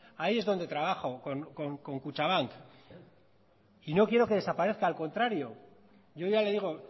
ahí es donde trabajo con kutxabank y no quiero que desaparezca al contrario yo ya le digo